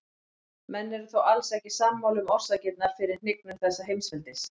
Menn eru þó alls ekki sammála um orsakirnar fyrir hnignun þessa mikla heimsveldis.